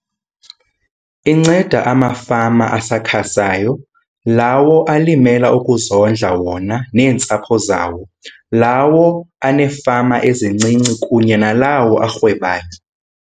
Inceda amafama asakhasayo, lawo alimela ukuzondla wona neentsapho zawo, lawo aneefama ezincinci kunye nalawo arhwebayo.